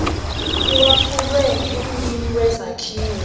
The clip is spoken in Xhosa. lwaphulwe ngumnini wezakhiwo